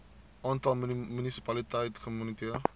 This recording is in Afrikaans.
aantal munisipaliteite gemoniteer